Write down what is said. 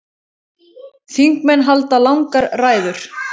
Þingmenn halda langar ræður.